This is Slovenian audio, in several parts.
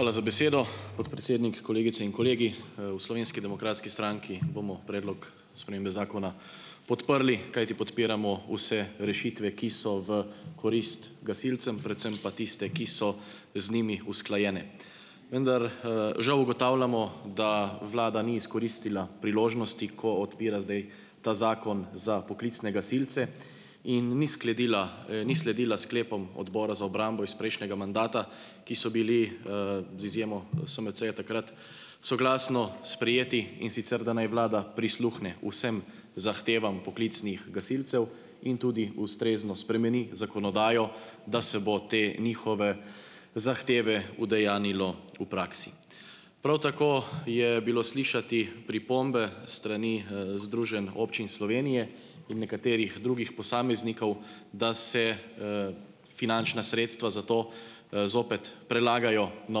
Hvala za besedo, podpredsednik. Kolegice in kolegi! v Slovenski demokratski stranki bomo predlog spremembe zakona podprli, kajti podpiramo vse rešitve, ki so v korist gasilcem, predvsem pa tiste, ki so z njimi usklajene. Vendar, žal ugotavljamo, da vlada ni izkoristila priložnosti, ko odpira zdaj ta zakon za poklicne gasilce in ni skledila ni sledila sklepom Odbora za obrambo iz prejšnjega mandata, ki so bili, z izjemo SMC-ja takrat soglasno sprejeti, in sicer da naj vlada prisluhne vsem zahtevam poklicnih gasilcev in tudi ustrezno spremeni zakonodajo, da se bo te njihove zahteve udejanjilo v praksi. Prav tako je bilo slišati pripombe s strani, Združenja občin Slovenije in nekaterih drugih posameznikov, da se, finančna sredstva za to, zopet prelagajo na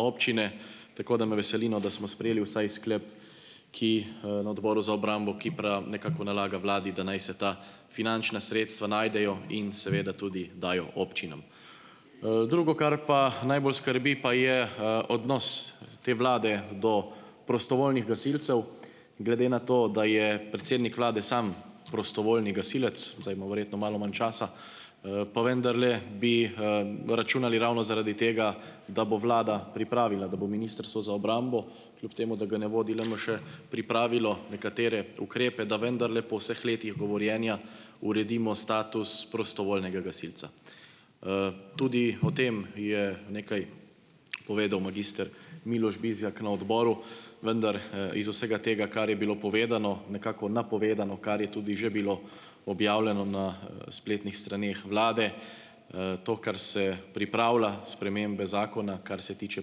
občine, tako da me veseli, no, da smo sprejeli vsaj sklep, ki, na Odboru za obrambo, ki nekako nalaga vladi, da naj se ta finančna sredstva najdejo in seveda tudi dajo občinam. Drugo, kar pa najbolj skrbi, pa je, odnos te vlade do prostovoljnih gasilcev. Glede na to, da je predsednik vlade sam prostovoljni gasilec, zdaj ima verjetno malo manj časa, pa vendarle bi, računali ravno zaradi tega, da bo vlada pripravila, da bo ministrstvo za obrambo kljub temu, da ga ne vodi LMŠ, pripravilo nekatere ukrepe, da vendarle po vseh letih govorjenja uredimo status prostovoljnega gasilca. Tudi o tem je nekaj povedal magister Miloš Bizjak na odboru, vendar, iz vsega tega, kar je bilo povedano, nekako napovedano, kar je tudi že bilo objavljeno na spletnih straneh vlade, to, kar se pripravlja, spremembe zakona, kar se tiče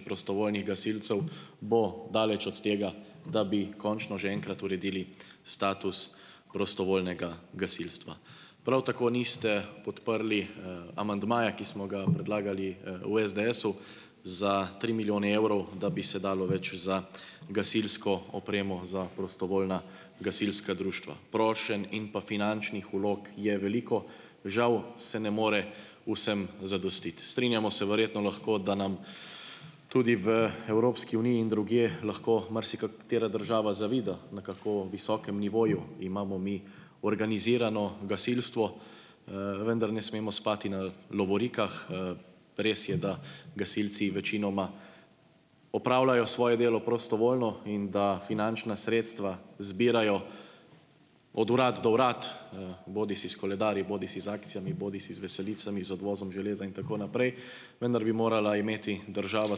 prostovoljnih gasilcev, bo daleč od tega, da bi končno že enkrat uredili status prostovoljnega gasilstva. Prav tako niste podprli, amandmaja, ki smo ga predlagali v SDS-u za tri milijone evrov, da bi se dalo več za gasilsko opremo za prostovoljna gasilska društva. Prošenj in pa finančnih vlog je veliko, žal se ne more vsem zadostiti. Strinjamo se verjetno lahko, da nam tudi v Evropski uniji in drugje lahko marsikatera država zavida, na kako visokem nivoju imamo mi organizirano gasilstvo, vendar ne smemo spati na lovorikah. Res je, da gasilci večinoma opravljajo svoje delo prostovoljno in da finančna sredstva zbirajo od uradno do uradno, bodisi s koledarji, bodisi z akcijami, bodisi z veselicami, z odvozom železa in tako naprej, vendar bi morala imeti država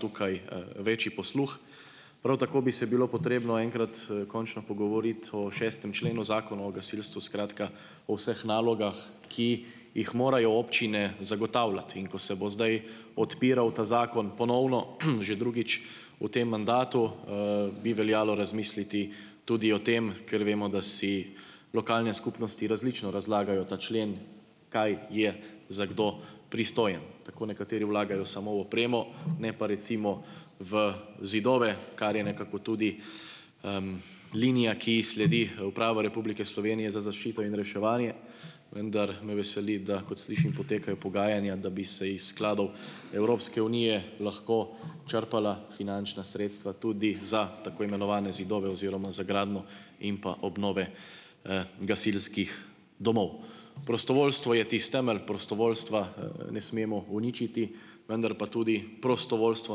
tukaj, večji posluh. Prav tako bi se bilo potrebno enkrat, končno pogovoriti o šestem členu Zakona o gasilstvu, skratka o vseh nalogah, ki jih morajo občine zagotavljati, in ko se bo zdaj odpiral ta zakon ponovno, že drugič v tem mandatu, bi veljalo razmisliti tudi o tem, ker vemo, da si lokalne skupnosti različno razlagajo ta člen, kaj je za kdo pristojen. Tako nekateri vlagajo samo v opremo, ne pa recimo v zidove, kar je nekako tudi, linija, ki ji sledi Uprava Republike Slovenije za zaščito in reševanje, vendar me veseli, da kot slišim potekajo pogajanja, da bi se iz skladov Evropske unije lahko črpala finančna sredstva tudi za tako imenovane zidove oziroma za gradnjo in pa obnove, gasilskih domov. Prostovoljstvo je tisti temelj prostovoljstva, ne smemo uničiti, vendar pa tudi prostovoljstvo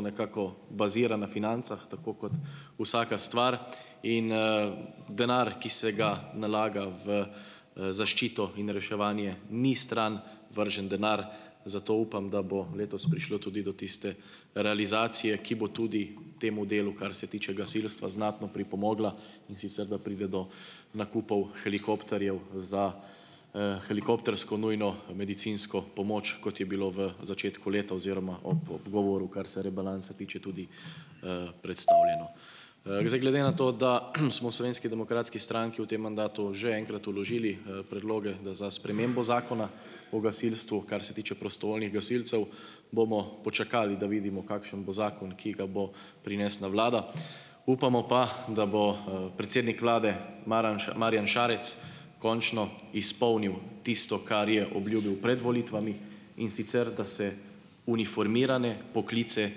nekako bazira na financah tako kot vsaka stvar, in, denar, ki se ga nalaga v zaščito in reševanje, ni stran vržen denar, zato upam, da bo letos prišlo tudi do tiste realizacije, ki bo tudi temu delu, kar se tiče gasilstva, znatno pripomogla, in sicer da pride do nakupov helikopterjev za, helikoptersko nujno medicinsko pomoč, kot je bilo v začetku leta oziroma ob govoru, kar se rebalansa tiče, tudi, predstavljeno. Zdaj, glede na to, da smo, v Slovenski demokratski stranki v tem mandatu že enkrat vložili, predloge za spremembo Zakona o gasilstvu, kar se tiče prostovoljnih gasilcev, bomo počakali, da vidimo kakšen bo zakon, ki ga bo prinesla vlada, upamo pa, da bo, predsednik vlade, Marjan Šarec, končno izpolnil tisto, kar je obljubil pred volitvami, in sicer, da se uniformirane poklice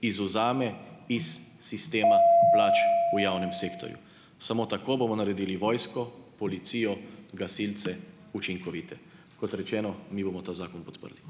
izvzame iz sistema plač v javnem sektorju. Samo tako bomo naredili vojsko, policijo, gasilce učinkovite. Kot rečeno, mi bomo ta zakon podprli.